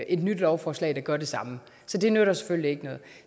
et nyt lovforslag der gør det samme det nytter selvfølgelig ikke noget